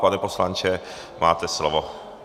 Pane poslanče, máte slovo.